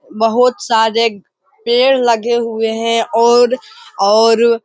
बहुत सारे पेड़ लगे हुए हैं और और --